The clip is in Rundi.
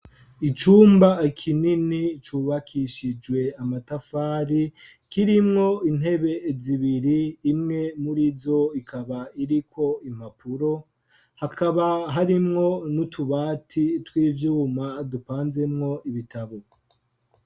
Icumba kinini cubakishijwe amatafari kirimwo intebe zibiri imwe murizo, ikaba iriko impapuro hakaba harimwo n'utubati tw'ivyuma dupanzemwo ibitabo.